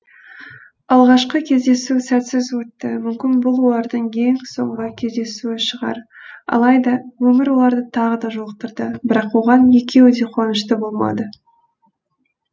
алғашқы кездесу сәтсіз өтті мүмкін бұл олардың ең соңғы кездесуі шығар алайда өмір оларды тағы да жолықтырды бірақ оған екеуі де қуанышты болмады